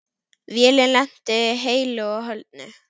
Vélin lenti heilu og höldnu.